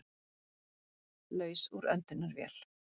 Laus úr öndunarvél